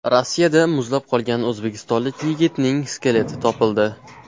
Rossiyada muzlab qolgan o‘zbekistonlik yigitning skeleti topildi.